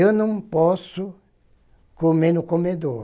Eu não posso comer no comedor.